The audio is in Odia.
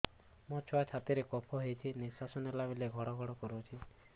ମୋ ଛୁଆ ଛାତି ରେ କଫ ହୋଇଛି ନିଶ୍ୱାସ ନେଲା ବେଳେ ଘଡ ଘଡ କରୁଛି